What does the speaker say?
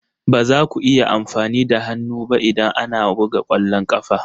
Ba za ku iya amfani da hannu ba idan ana buga ƙwallon ƙafa ba